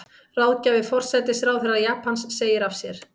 Ráðgjafi forsætisráðherra Japans segir af sér